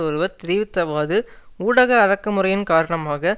ஒருவர் தெரிவித்ததாவது ஊடக அடக்குமுறையின் காரணமாக